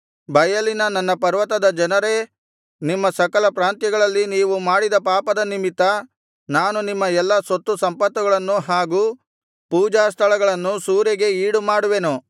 ಬಯಲಿನ ನನ್ನ ಪರ್ವತದ ಜನರೇ ನಿಮ್ಮ ಸಕಲ ಪ್ರಾಂತ್ಯಗಳಲ್ಲಿ ನೀವು ಮಾಡಿದ ಪಾಪದ ನಿಮಿತ್ತ ನಾನು ನಿಮ್ಮ ಎಲ್ಲಾ ಸೊತ್ತು ಸಂಪತ್ತುಗಳನ್ನು ಹಾಗು ಪೂಜಾಸ್ಥಳಗಳನ್ನು ಸೂರೆಗೆ ಈಡು ಮಾಡುವೆನು